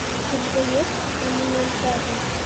у тебя есть элементарно